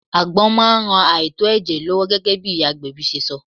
Àgbon máa ń ran àìtó ẹ̀jẹ̀ lọ́wọ́ gẹ́gẹ́ bí iyagbebi ṣe sọ.